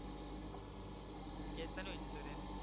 કેટલાનુંં insurance